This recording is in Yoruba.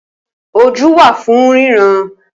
Ojú wà fún ríran